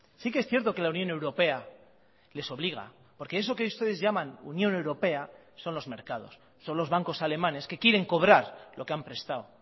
sí que es cierto que la unión europea les obliga porque eso que ustedes llaman unión europea son los mercados son los bancos alemanes que quieren cobrar lo que han prestado